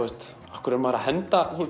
af hverju er maður að henda